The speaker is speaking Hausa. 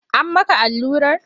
An maka allurar?